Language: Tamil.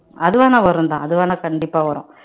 அது வேணா வரும்தான் அது வேணா கண்டிப்பா வரும்